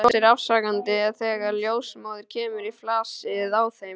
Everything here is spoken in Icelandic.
Brosir afsakandi þegar ljósmóðir kemur í flasið á þeim.